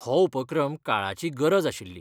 हो उपक्रम काळाची गरज आशिल्ली.